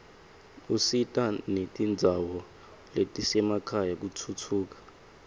usita netindzawo letisemakhaya kutfutfuka